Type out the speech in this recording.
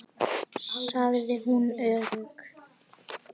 sagði hún örg.